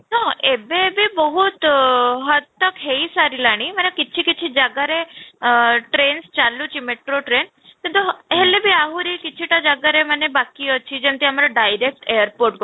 ହଁ, ଏବେ ଏବେ ବହୁତ ହେଇ ସାରିଲାଣି ମାନେ କିଛି କିଛି ଜାଗାରେ ଆଁ train ଚାଲୁଛି metro train କିନ୍ତୁ ହେଲେ ବି ଆହୁରି କିଛିଟା ଜାଗାରେ ବାକି ଅଛି ଯେମିତି ଆମର direct airport କୁ